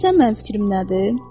Bilirsən mənim fikrim nədir?